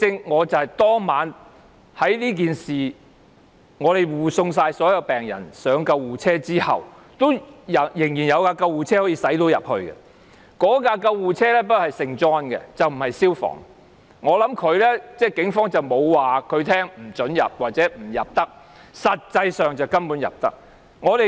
我當晚護送所有病人上救護車後，仍然有救護車可以駛進去，不過那輛救護車是聖約翰救傷隊的，不是消防處的，我估計警方沒有不准它駛入，其實根本可以進入。